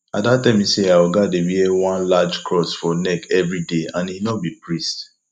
ada tell me say her oga dey wear one large cross for neck everyday and he no be priest